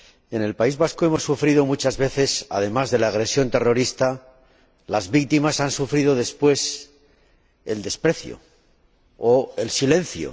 En el País Vasco, muchas veces, además de la agresión terrorista, las víctimas han sufrido después el desprecio o el silencio.